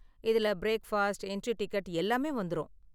இதுல breakfast, entry ticket எல்லாமே வந்துரும்.